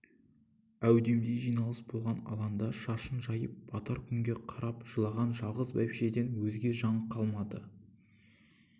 әудемде жиналыс болған алаңда шашын жайып батар күнге қарап жылаған жалғыз бәйбішеден өзге жан қалмады